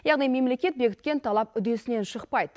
яғни мемлекет бекіткен талап үдесінен шықпайды